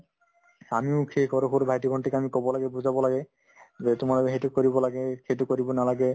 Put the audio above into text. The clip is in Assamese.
আমিও সেই সৰু সৰু ভাইটি-ভণ্টিক আমি ক'ব লাগে বুজাব লাগে যে তোমালোকে সেইটো কৰিব লাগে সেইটো কৰিব নালাগে